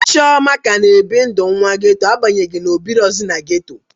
Chioma ka na ebi ndụ nwa geto abanyeghi na o birozu n'geto